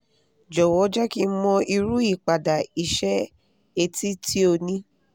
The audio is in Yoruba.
jọ̀wọ́ jẹ́ kí n mọ̀ irú ìpadà iṣẹ́ etí tí ó ní